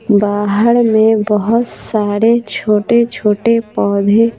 बाहर में बहुत सारे छोटे-छोटे पौधे --